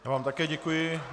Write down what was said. Já vám také děkuji.